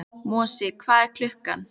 Mosi, hvað er klukkan?